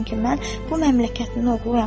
Çünki mən bu məmləkətin oğluyam.